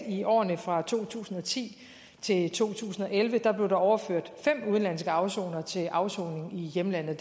i årene fra to tusind og ti til to tusind og elleve blev overført fem udenlandske afsonere til afsoning i hjemlandet